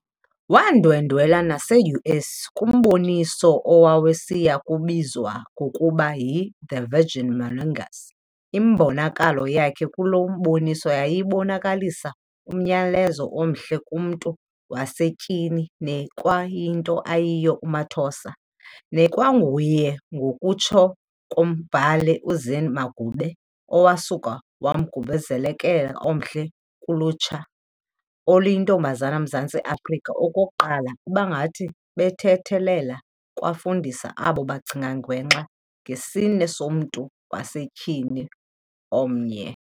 Wandwendwela naseUS kumboniso owawusaya kubizwa ngokuba yi"The Vagina Monologues". imbonakalo yakhe kuloo mboniso yayibonakalisa umyalezo omhle ngomntu wasetyhini nekwakuyinto ayiyo uMathosa, nekwankunguye, ngokutsho kombhali uZine Magube, owasuka wangumzekelo omhle kulutsha olungamantomabzana eMzantsi Afrika, okokuqala ubangathi ubethelela ekwafundisa abo bacinga gwenxa ngesini somntu wasetyhini omnyama.